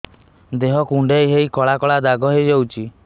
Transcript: ଦେହ କୁଣ୍ଡେଇ ହେଇ କଳା କଳା ଦାଗ ହେଇଯାଉଛି